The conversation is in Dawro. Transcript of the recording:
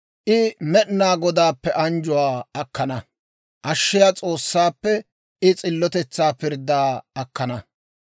I Med'inaa Godaappe anjjuwaa akkana; ashshiyaa S'oossaappe I s'illotetsaa pirdddaa akkana.